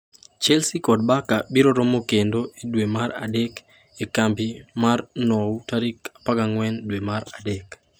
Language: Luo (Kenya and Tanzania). Chelsea kod Barca biroromo kendo e dwe mar Adek e kambi mar Nou tarik 14 dwe mar Adek.